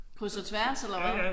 Kryds og tværs eller hvad?